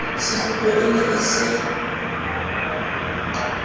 sekgutlo e ne e se